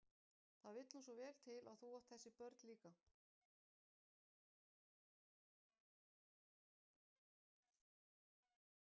Það vill nú svo vel til að þú átt þessi börn líka.